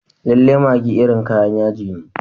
Lallai maggi irin kayan yaji ne.